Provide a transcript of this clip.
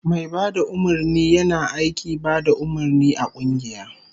Mai bada umarni yina aiki bada umarni a kungiya